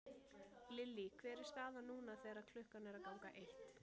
Lillý hver er staðan núna þegar að klukkan er að ganga eitt?